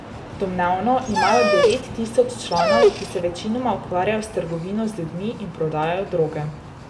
Domnevno imajo devet tisoč članov, ki se večinoma ukvarjajo s trgovino z ljudmi in prodajo droge.